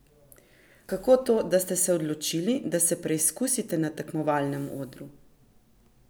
Kako to, da ste se odločili, da se preizkusite na tekmovalnem odru?